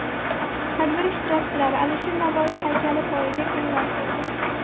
Tadbir ishtirokchilari Alisher Navoiy haykali poyiga gullar qo‘ydi.